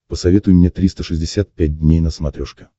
посоветуй мне триста шестьдесят пять дней на смотрешке